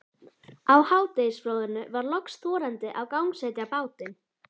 Á hádegisflóðinu var loks þorandi að gangsetja bátinn.